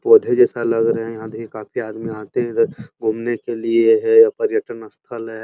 पौधा जैसे लग रहे। यहाँ काफी आदमी आते हैं इधर घूमने के लिए ये है पर्यटन स्थल है।